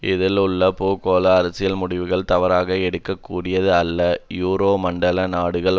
இதில் உள்ள பூகோள அரசியல் முடிவுகள் தவறாக எடுக்ககூடியவையல்ல யூரோ மண்டல நாடுகள்